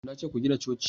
na ce ku gina coci!